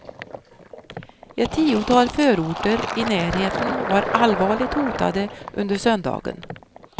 Ett tiotal förorter i närheten var allvarligt hotade under söndagen.